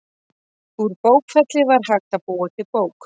Úr bókfelli var hægt að búa til bók.